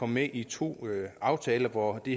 med i to aftaler hvor det